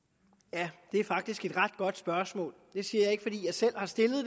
ja det er faktisk et ret godt spørgsmål det siger jeg ikke fordi jeg selv har stillet